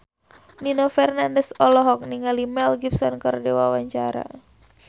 Nino Fernandez olohok ningali Mel Gibson keur diwawancara